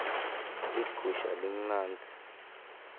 ligusha limnandzi